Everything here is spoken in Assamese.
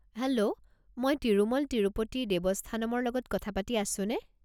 হেল্ল'! মই তিৰুমল তিৰুপতি দেৱস্থানমৰ লগত কথা পাতি আছোনে?